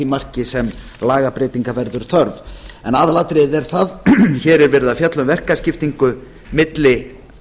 marki sem lagabreytinga verður þörf aðalatriðið er þó það að hér er verið að fjalla um verkaskiptingu milli